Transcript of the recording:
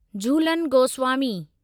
Jhulan Goswami